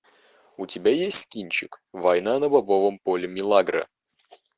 у тебя есть кинчик война на бобовом поле милагро